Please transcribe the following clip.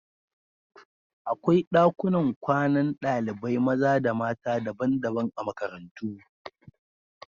Akwai ɗakunan kwanan ɗalibai maza da mata daban-daban a makarantu.